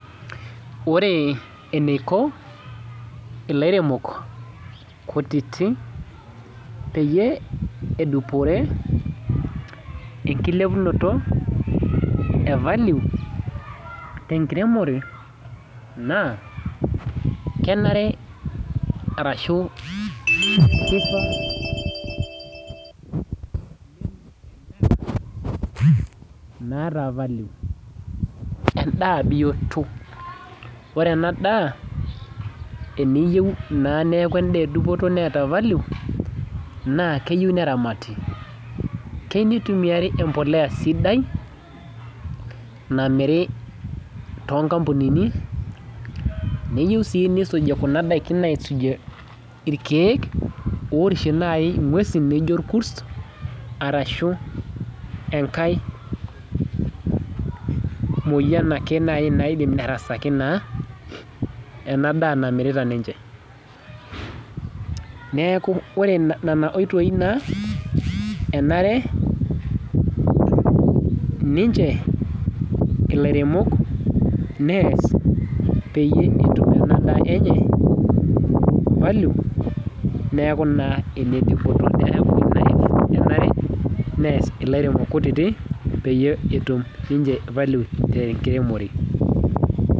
Ore eniko ilairemok kutitik peyie edupore enkilepunoto e value tenkiremore, naa, kenare arashu kifaa oleng eneeta edaa naata value. Endaa bioto. Ore enadaa, eniyieu naa neeku endaa ebioto neeta value, naa keyieu neramati. Keu nitumiari empolea sidai, namiri, neyieu si nisuji kuna daikin aisujie irkeek, orishie nai ing'uesin naijo irkus, arashu enkae moyian ake nai naidim nerasaki naa, enadaa namirita ninche. Neeku ore nena oitoi naa, enare ninche ilaremok peyie etum enadaa enye value, neeku naa enedupoto. Neeku ina enare nees ilairemok kutitik peyie etum ninche value tenkiremore.